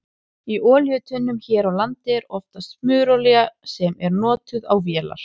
Í olíutunnum hér á landi er oftast smurolía sem er notuð á vélar.